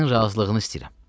Sənin razılığını istəyirəm.